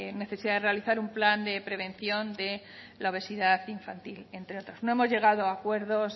necesidad de realizar un plan de prevención de la obesidad infantil entre otros no hemos llegado a acuerdos